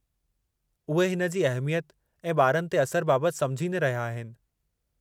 उहे हिन जी अहिमियत ऐं ॿारनि ते असर बाबति समुझी न रहिया आहिनि।